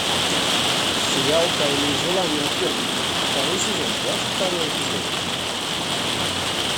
сериал тайные желания отвергнутых второй сезон двадцать второй эпизод